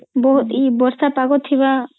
ବହୁତ୍ ଏଇ ବର୍ଷା ପାଗ ଥୀବା